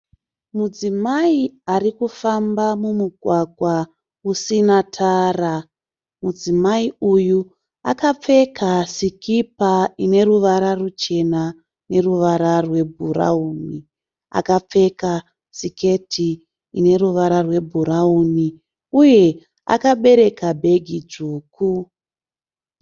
Mudzimai ari kufamba mumugwagwa usina tara. Mudzimai uyu akapfeka sikipa ine ruvara ruchena neruva rwebhurawuni. Akapfeka siketi ine ruvara rwebhurawuni uye akabereka bhegi dzvuku.